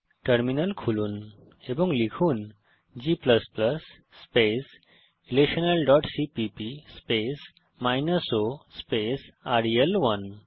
terminal খুলুন এবং লিখুন g relationalসিপিপি o রেল1